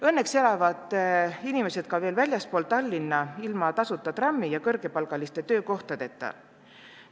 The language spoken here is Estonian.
Õnneks elavad inimesed ka veel väljaspool Tallinna ilma tasuta trammi ja kõrgepalgaliste töökohtadeta.